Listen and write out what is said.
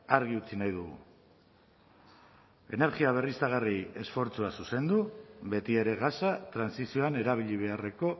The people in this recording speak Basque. argi utzi nahi dugu energia berriztagarri esfortzua zuzendu betiere gasa trantsizioan erabili beharreko